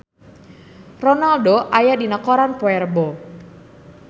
Ronaldo aya dina koran poe Rebo